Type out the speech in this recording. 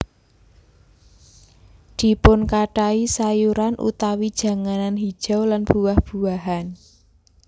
Dipunkathahi sayuran utawi janganan hijau lan buah buahan